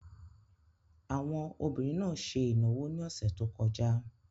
Àwọn obìnrin náà ṣe ìnáwó ní ọ̀sẹ̀ tó kọjá.